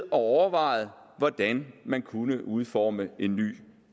overvejet hvordan man kunne udforme en ny